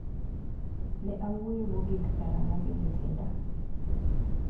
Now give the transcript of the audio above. Ne awuoyo mogik karang'o gi Mutinda?